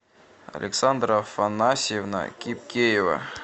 александра афанасьевна кипкеева